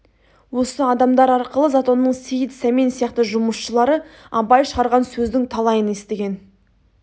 осы адамдар арқылы затонның сейіт сәмен сияқты жұмысшылары абай шығарған сөздің талайын естіген